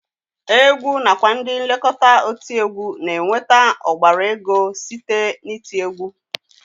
Egwu nakwa ndị nlekọta otiegwu na-enweta ọgbara ego site n'iti egwu